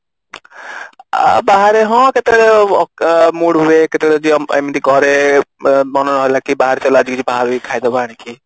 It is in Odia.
ଆଉ ବାହାରେ ହଁ କେତେବେଳେ mood ହୁଏ କେତେବେଳେ ଯଦି ଏମିତି ଘରେ ମନ ହେଲା କି ବାହାରେ ଚାଲ ଆଜି କିଛି ବାହାରେ ଯାଇକି ଖାଇଦବା ଆଣିକି